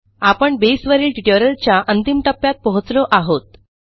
आपण बेसवरील ट्युटोरियलच्या अंतिम टप्प्यात पोहोचलो आहोत